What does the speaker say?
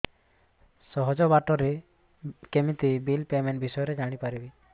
ସହଜ ବାଟ ରେ କେମିତି ବିଲ୍ ପେମେଣ୍ଟ ବିଷୟ ରେ ଜାଣି ପାରିବି